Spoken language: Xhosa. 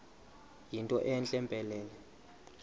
yinto entle mpelele